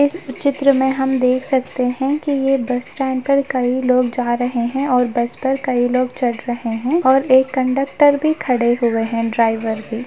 इस चित्र में हम देख सकते है ये बस स्टैंड पर खड़े लोग जा रहे है और बस पर खड़े लोग चढ़ रहे है और एक कंडक्टर भी खड़े हुए है ड्राइवर के --